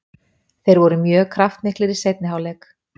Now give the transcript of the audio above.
Þeir voru mjög kraftmiklir í seinni hálfleik.